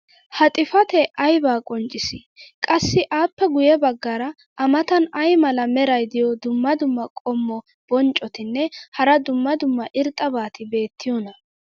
ha xifatee aybaa qonccissii? qassi appe guye bagaara a matan ay mala meray diyo dumma dumma qommo bonccotinne hara dumma dumma irxxabati beetiyoonaa?